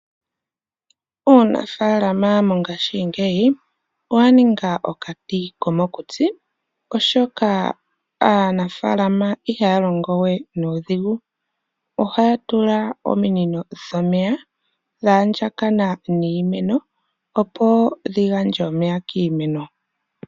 Uunafaalama mongashingeyi owa ninga okati komokutsi oshoka aanafaalama ihaya longo we nuudhigu ohaya tula ominino dha andjakana niimeno opo dhi gandje omeya kiimeno.